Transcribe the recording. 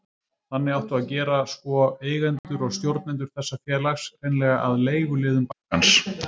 Þannig átti að gera sko, eigendur og stjórnendur þessa félags, hreinlega að leiguliðum bankans.